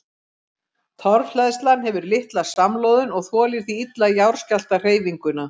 Torfhleðslan hefur litla samloðun og þolir því illa jarðskjálftahreyfinguna.